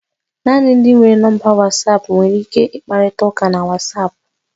Naanị ndị nwere nọmba Wasapu nwere ike ịkparịta ụka na Wasapu